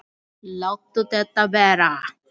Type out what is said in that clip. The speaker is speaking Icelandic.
Láttu þetta vera!